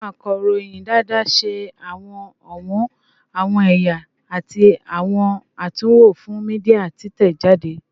Awọn akọroyin daadaa ṣe awọn ọwọn, awọn ẹya, ati awọn atunwo fun media titẹjade